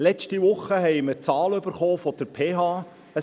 Letzte Woche haben wir die Zahlen der PH erhalten: